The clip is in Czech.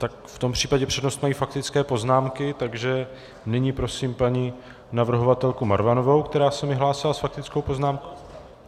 Tak v tom případě přednost mají faktické poznámky, takže nyní prosím paní navrhovatelku Marvanovou, která se mi hlásila s faktickou poznámkou.